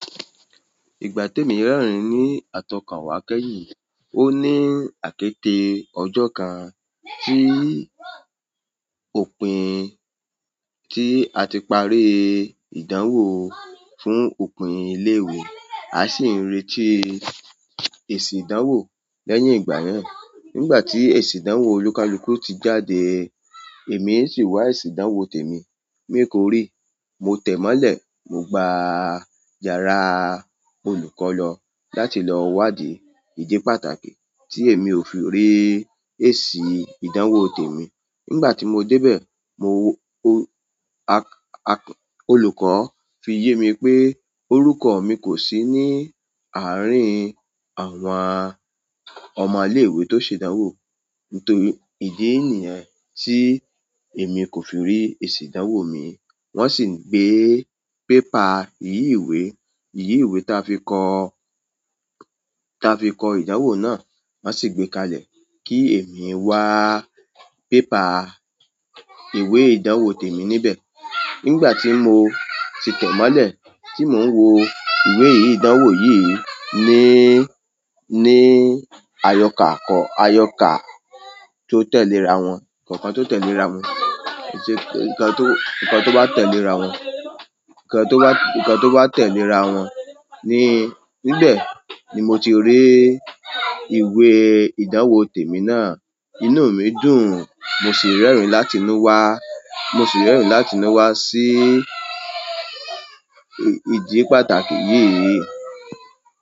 Ìgbà tí èmi rẹ́rìn ní àtọ̀kànwá kẹ́yìn, ó ní àkéte ọjọ́ kan tí òpin tí a ti parí ìdánwò fún òpin ilé ìwé, a sì ń retí èsì ìdánwò lẹ́yìn ìgbà yẹn. Nígbà tí èsì ìdánwò olùkalùku ti jáde, èmi sì wá èsì ìdánwò tèmi, mi kò rí. Mo tẹ́ mọ́lẹ̀, mo gba iyára olùkọ́ lọ láti lọ wádìí ìdí pàtàkì tí èmi ò fi rí èsì ìdánwò tèmi. Nigbati mo debe, olùkọ́ fi ye mi pe orúkọ mi kosi ni arin àwọn ọmọ ilewe to se ìdánwò. Nítorí ìdí nìyẹn tí èmi kò fi rí èsì ìdánwò mi. Wọ́n sì gbé paper ìyi ìwé, iyi ìwé ta fi kọ, ta fi kọ ìdánwò náà, wọ́n sì gbé kalẹ̀ kí èmi wá paper ìwé ìdánwò tèmi níbẹ̀. Nígbà tí mo ti tẹ́mọ́lẹ̀, tí mò ń wo ìwé ìdánwò yìí ní, ní àyọkà kọ̀, àyọkà tó tẹ̀lé ra wọ́n, ǹkan tó tẹ̀lé ra wọ́n, èsì ǹkan tó, ǹkan tó bá tẹ̀lé ra wọ́n, ǹkan tó bá, ǹkan tó bá tẹ̀lé ra wọ́n ní, níbẹ̀ ni mo ti rí ìwé ìdánwò tèmi náà. Inú mi dùn, mo sì ń rẹ́rìn-ín láti mú wá, mo sì ń rẹ́rìn-ín láti mú wá sí ìdí pàtàkì yìí.